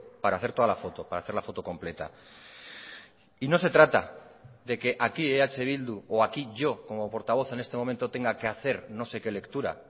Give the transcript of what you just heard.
para hacer toda la foto para hacer la foto completa y no se trata de que aquí eh bildu o aquí yo como portavoz en este momento tenga que hacer no sé qué lectura